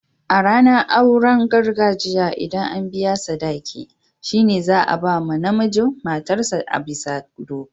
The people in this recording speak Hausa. A ranar auren gargajiya, ldan an biya sadaki'n, shine za'a ba ma na mijin matar sa a'bisa doka.